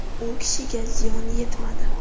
U kishiga ziyon yetmadi.